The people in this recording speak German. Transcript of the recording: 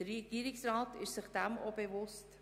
Der Regierungsrat ist sich dessen bewusst.